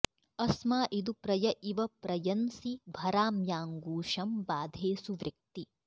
अस्मा इदु प्रय इव प्र यंसि भराम्याङ्गूषं बाधे सुवृक्ति